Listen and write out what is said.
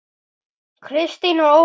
Kristín og Ómar.